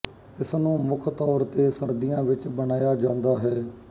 ਇਸਨੂੰ ਮੁੱਖ ਤੌਰ ਤੇ ਸਰਦੀਆਂ ਵਿੱਚ ਬਣਾਇਆ ਜਾਂਦਾ ਹੈ